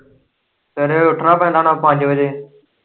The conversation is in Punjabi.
ਸਵੇਰੇ ਫੇਰ ਉੱਠਣਾ ਪੈਂਦਾ ਹੁਣਾ ਪੰਜ ਵਜੇ।